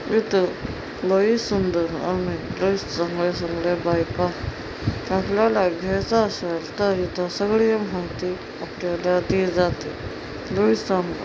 केलेला इथ लय सुंदर आणि लय सुंदर-सुंदर बायका थांबलेल्या तर इथे सगळे भोवती--